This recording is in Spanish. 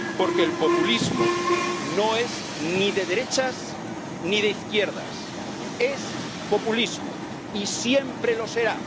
Porque el populismo no es ni de derechas ni de izquierdas, es populismo y siempre lo será.